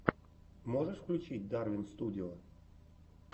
можешь включить дарвин студио